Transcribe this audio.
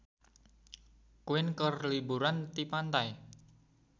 Queen keur liburan di pantai